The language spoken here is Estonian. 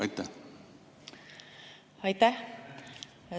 Aitäh!